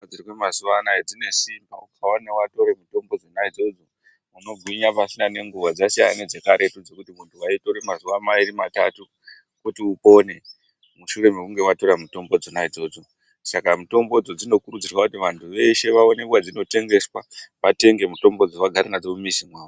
Mitombo dziriko mazuva anaya dzinesimba ukaone vatore mitombo dzona idzodzo unogwinya pasina nenguva dzasiyana nedzekaretu dzekuti muntu vaitore mazuva mairi matatu kuti upone, mushure mekunge vatora mitombo dzonaidzo. Saka mutombo idzo dzinokurudzirwa kuti vantu veshe vaone kwadzinot engeswa vatenge mitombo idzo vagare nadzo mumizi mavo.